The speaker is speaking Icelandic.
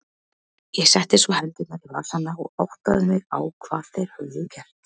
Ég setti svo hendurnar í vasana og áttaði mig á hvað þeir höfðu gert.